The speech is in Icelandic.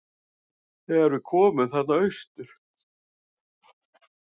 Þegar við komum þarna austur.